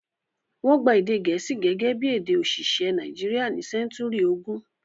Wọ́n gba èdè Gẹ̀ẹ́sì gẹ́gẹ́ bí èdè òṣìṣẹ́ Nàìjíríà ní sẹ́ńtúrì ogún.